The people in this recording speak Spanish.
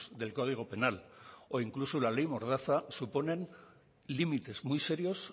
del código penal o incluso la ley mordaza suponen límites muy serios